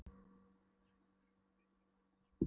Einmitt, ég rölti um bæinn í frístundum og kynnist strákum!